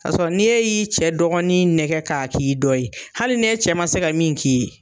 Ka sɔrɔ ni e y'i cɛ dɔgɔnin nɛgɛ ka k'i dɔ ye hali ni e cɛ ma se ka min k'i ye